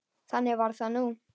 Þannig var það nú.